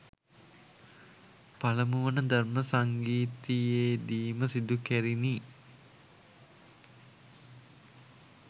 පළමු වන ධර්ම සංගීතියේ දී ම සිදු කැරිණි